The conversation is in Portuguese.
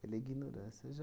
Pela ignorância, já...